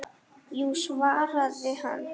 Jú svaraði hann.